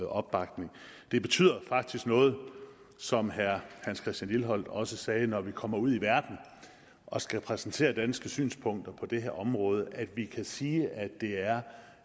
opbakningen det betyder faktisk noget som herre christian lilleholt også sagde når vi kommer ud i verden og skal præsentere danske synspunkter på det her område at vi kan sige at det er